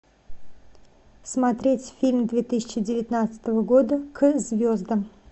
смотреть фильм две тысячи девятнадцатого года к звездам